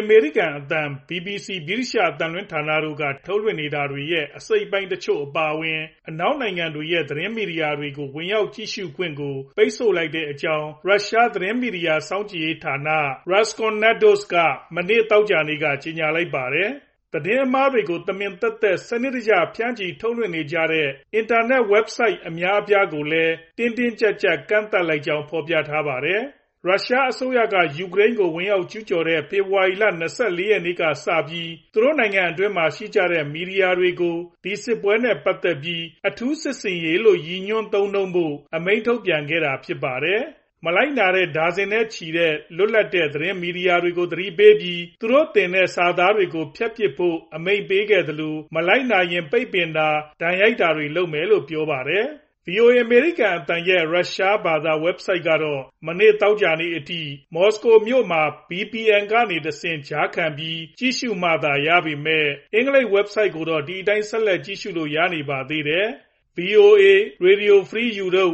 အမေရိကန်အသံ၊ BBC ဗြိတိသျှအသံလွှင့်ဌာန တို့ က ထုတ်လွှင့်နေတာတွေရဲ့ အစိတ်အပိုင်းတချို့ အပါအဝင် အနောက်နိုင်ငံတွေရဲ့ သတင်းမီဒီယာတွေကို ဝင်ရောက်ကြည့်ရှု့ခွင့်ကို ပိတ်ပင်လိုက်ကြောင်း ရုရှား သတင်းမီဒီယာစောင့်ကြည့်ရေးဌာန Roskomnadzor က မနေ့ သောကြာနေ့က ကြေညာလိုက်ပါတယ်။ သတင်းအမှားတွေကို တမင်သက်သက် စနစ်တကျဖြန့်ချီထုတ်လွှင့်နေကြတဲ့ အင်တာနက်ဆိုဒ် အများအပြားကို တင်းတင်းကြပ်ကြပ် ကန့်သတ်လိုက်ကြောင်း လည်း ဖော်ပြထားပါတယ်။ ရုရှားအစိုးရက ယူကရိန်းကို ဝင်ရောက်ကျူးကျော်တဲ ဖေဖေါ်ဝါရီလ ၂၄ ရက်နေ့ကစပြီး သူနိုင်ငံအတွင်းမှာရှိကြတဲ့ မီဒီယာတွေကို ဒီစစ်ပွဲနဲ့ ပတ်သက်ပြီး အထူးစစ်ဆင်ရေးလို့ ရည်ညွှန်း သုံးနှုန်းဖို့ အမိန်ထုတ်ပြန်ခဲ့တာဖြစ်ပါတယ်။ မလိုက်နာတဲ့ ဒါဇင်နဲ့ချီတဲ့ လွတ်လပ်တဲ့သတင်းမီဒီယာတွေကို သတိပေးပြီး သူတို့တင်ထားတဲ့စာသားတွေကို ဖျက်ပစ်ဖို့အမိန့်ပေးခဲ့သလို မလိုက်နာရင် ပိတ်ပင်တာ ဒဏ်ရိုက်တာတွေလုပ်မယ်လို့ပြောပါတယ်။ VOA အမေရိကန်အသံ ရဲ့ ရုရှားဘာသာ Website ကတော့ မနေ့ သောကြာနေ့အထိ မော်စကိုမြို့မှာ VPN ကနေတဆင့် ကြားခံပြီး ကြည့်ရှုမှသာရပေမယ့် အင်္ဂလိပ် Website ကိုတော့ ဒီအတိုင်းဆက်လက်ကြည့်လို့ရရှိနေပါသေးတယ်။ VOA ၊ RFE/RL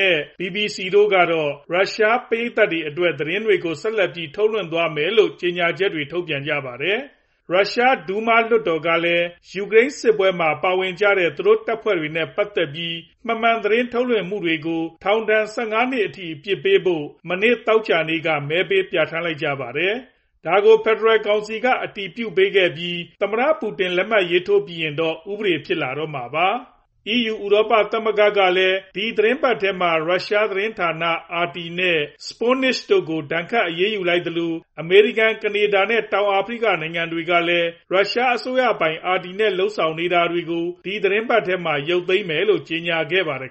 နဲ့ BBC တို့ကတော့ ရုရှား ပရိတ်သတ်တွေအတွက် သတင်းတွေကို ဆက်လက်ပြီး ထုတ်လွင့်သွားမယ်လို့ ကြေညာချက်ထုတ်ပြန်ခဲ့ပါတယ်။ ရရှား Duma လွှတ်တော်ကလည်း ယူကရိန်စစ်ပွဲမှာ ပါဝင်နေကြတဲ့ သူတို့တပ်ဖွဲ့တွေနဲ့ပတ်သက်ပြီး မမှန်သတင်းထုတ်လွှင့်ဖော်ပြမှုတွေကို ထောင်ဒဏ် ၁၅ နှစ်အထိ အပြစ်ပေးဖို့ မနေ့ သောကြာနေ့က မဲပေးပြဌာန်းလိုက်ပါတယ်။ ဒါကို ဖယ်ဒရယ်ကောင်စီက အတည်ပြုပေးခဲ့ပြီး သမ္မတပူတင် လက်မှတ်ထိုးပြီးရင်တော့ ဥပဒေဖြစ်လာတော့မှာပါ။ EU ဥရောပသမဂ္ဂ ကလည်း ဒီသီတင်းပတ်ထဲမှာ ရုရှားသတင်းဌာန RT နဲ့ Sputnik တို့ကို ဒဏ်ခတ်အရေးယူလိုက်သလို အမေရိကန်၊ ကနေဒါ နဲ့ တောင်အာဖရိကနိုင်ငံတွေကလည်း ရုရှားအစိုးရပိုင် RT နဲ့ လုပ်ဆောင်နေတာတွေကို ဒီသတင်းပတ်ထဲမှာ ရုတ်သိမ်းမယ်လို့ ကြေညာခဲ့ကြပါတယ်